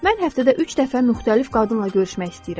Mən həftədə üç dəfə müxtəlif qadınla görüşmək istəyirəm.